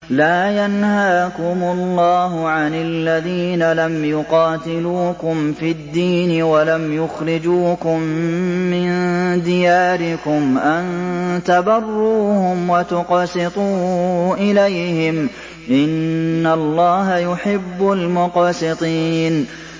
لَّا يَنْهَاكُمُ اللَّهُ عَنِ الَّذِينَ لَمْ يُقَاتِلُوكُمْ فِي الدِّينِ وَلَمْ يُخْرِجُوكُم مِّن دِيَارِكُمْ أَن تَبَرُّوهُمْ وَتُقْسِطُوا إِلَيْهِمْ ۚ إِنَّ اللَّهَ يُحِبُّ الْمُقْسِطِينَ